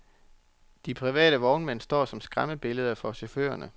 De private vognmænd står som skræmmebilleder for chaufførerne.